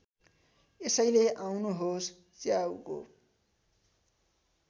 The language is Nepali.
यसैले आँउनुहोस् च्याउको